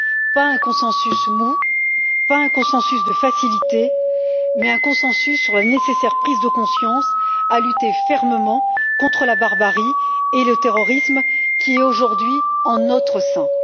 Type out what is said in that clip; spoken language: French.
pas un consensus mou, pas un consensus de facilité mais un consensus sur la nécessaire prise de conscience à lutter fermement contre la barbarie et le terrorisme qui est aujourd'hui en notre sein.